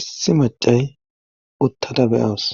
issi macay uttada beyawus